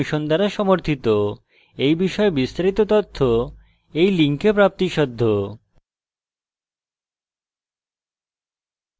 এই বিষয়ে বিস্তারিত তথ্য এই লিঙ্কে প্রাপ্তিসাধ্য